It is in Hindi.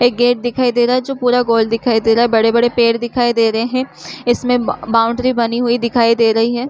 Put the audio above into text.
एक गेट दिखाई रहा है जो पूरा गोल दिखाई दे रहा है बड़े-बड़े पेड़ दिखाई दे रहे है इसमें बाउंड्री बनी हुई दिखाई दे रही है।